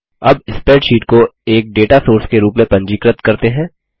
अब स्प्रैडशीट को एक डेटा सोर्स के रूप में पंजीकृत करते हैं